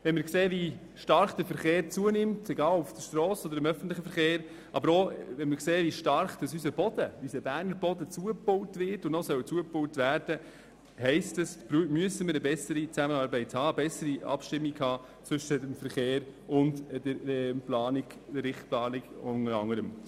Wenn wir sehen, wie stark sowohl der private Verkehr als auch der öffentliche Verkehr zunehmen, aber auch wenn wir sehen, wie unser Boden, unser Berner Boden zugebaut wird und weiter zugebaut werden soll, heisst das, dass wir eine bessere Zusammenarbeit brauchen, eine bessere Abstimmung zwischen dem Verkehr und der Planung, der Richtplanung.